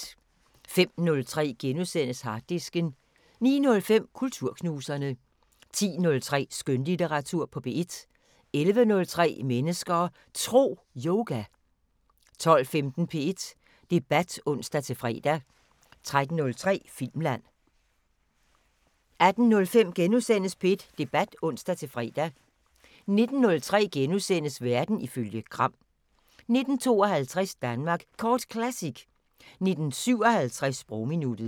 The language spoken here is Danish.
05:03: Harddisken * 09:05: Kulturknuserne 10:03: Skønlitteratur på P1 11:03: Mennesker og Tro: Yoga 12:15: P1 Debat (ons-fre) 13:03: Filmland 18:05: P1 Debat *(ons-fre) 19:03: Verden ifølge Gram * 19:52: Danmark Kort Classic 19:57: Sprogminuttet